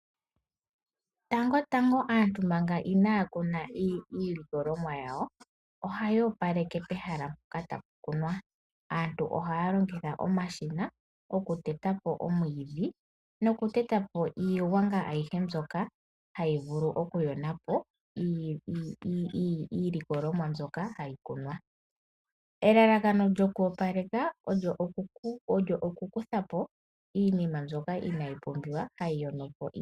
Tango tango manga aantu inaakuna iilikolomwa yawo hayoopaleke pehala mpoka taakunu naantu ohaalongitha omashina okuteta po omwiidhi niigwanga ayihe ndjoka hayivulu okuyonapo iikunomwa. Elaka lyoku opaleka olyokukuthapo oonyata ndhoka tadhi vulu oku yona iimeno yo moshikunino.